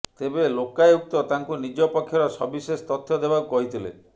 ତେବେ ଲୋକାୟୁକ୍ତ ତାଙ୍କୁ ନିଜ ପକ୍ଷର ସବିଶେଷ ତଥ୍ୟ ଦେବାକୁ କହିଥିଲେ